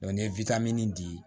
ni ye di